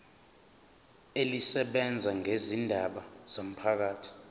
elisebenza ngezindaba zomphakathi